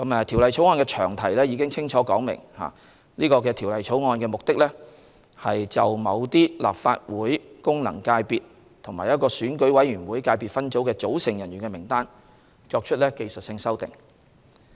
《條例草案》的詳題已清楚指明，《條例草案》的目的旨在就某些立法會功能界別及一個選舉委員會界別分組的組成人士的名單作出技術性修訂。